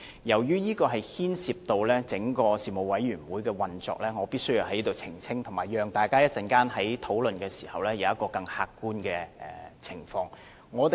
由於這會牽涉到整個事務委員會的運作，我必須在此澄清，以及讓大家能在稍後作出較為客觀的討論。